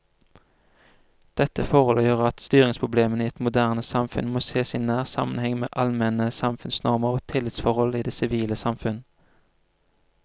Dette forhold gjør at styringsproblemene i moderne samfunn må sees i nær sammenheng med allmenne samfunnsnormer og tillitsforhold i det sivile samfunn.